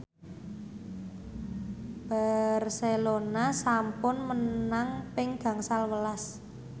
Barcelona sampun menang ping gangsal welas